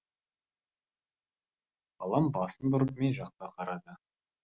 балам басын бұрып мен жаққа қарады